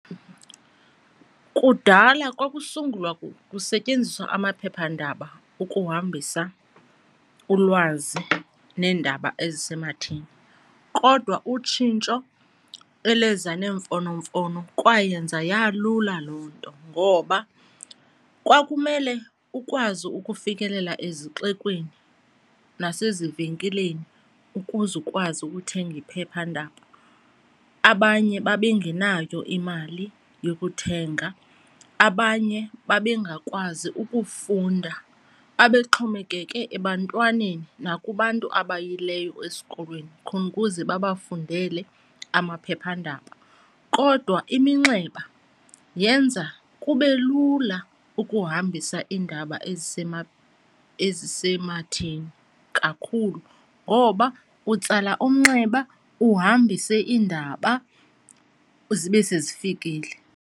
Kudala kwakusungulwa kusetyenziswa amaphephandaba ukuhambisa ulwazi neendaba ezisematheni kodwa utshintsho elweza neemfonomfono kwayenza yalula loo nto. Ngoba kwakumele ukwazi ukufikelela ezixekweni nasezivenkileni ukuze ukwazi ukuthenga iphephandaba, abanye babengenayo imali yokuthenga, abanye babengakwazi ukufunda babexhomekeke ebantwaneni nakubantu abayileyo esikolweni khona ukuze babafundele amaphephandaba. Kodwa iminxeba yenza kube lula ukuhambisa iindaba ezisematheni kakhulu ngoba utsala umnxeba uhambise iindaba, zibe sezifikile.